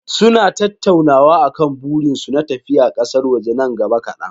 Suna tattaunawa akan burinsu na tafiya kasar waje nan gaba kadan.